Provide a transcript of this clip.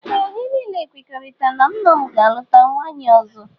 Ee anyị niile kwekoritara na nna m ga aluta nwaanyị ọzọ.